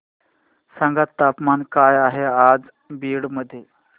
सांगा तापमान काय आहे आज बीड मध्ये